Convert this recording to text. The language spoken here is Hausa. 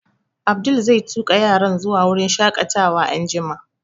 Abdul zai tuƙa yaran zuwa wurin shaƙatawa anjima